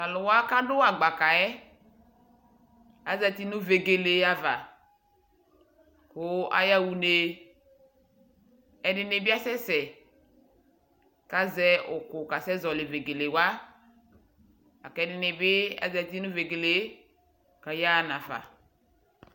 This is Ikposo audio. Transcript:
tʊ alʊwa kʊ adʊ ʊlɔ yɛ, azati nʊ vegele ava, kʊ ayaɣa une, ɛdɩnɩ bɩ asɛ sɛ, kʊ azɛ ʊkʊ kasɛ zɔlɩ vegelewa, kʊ ɛdɩnɩ bɩ zatɩ nʊ vegele yɛ kʊ ayaɣa nafa